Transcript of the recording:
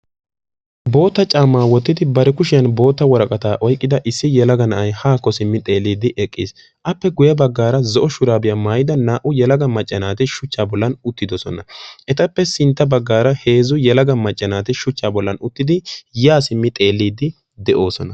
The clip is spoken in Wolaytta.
Bootta caammaa wottidi bari kushiyan bootta woraqataa oyqqida issi yelaga na'ay haakko simmi xeelliiddi eqqiis. Appe guyye baggaara zo'o shuraabiya maayida naa''u yelaga macca naati shuchchaa bollan uttidosona. Etappe sintta baggaara heezzu yelaga macca naati shuchchaa bollan uttidi yaa simmi xeelliiddi de'oosona.